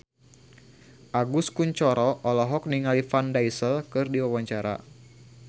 Agus Kuncoro olohok ningali Vin Diesel keur diwawancara